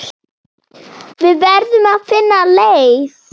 Við verðum að finna leið.